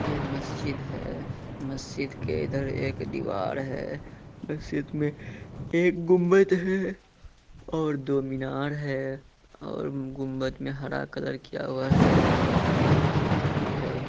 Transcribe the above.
ये मस्जिद है। मस्जिद के इधर एक दीवार है। मस्जिद मे एक गुंबज है और दो मीनार है। और गुंबज मे हरा कलर किया हुआ है। एक खिड़की है।